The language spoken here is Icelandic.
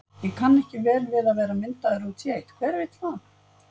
Ég kann ekki vel við að vera myndaður út í eitt, hver vill það?